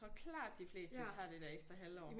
Jeg tror klart de fleste tager det der ekstra halvår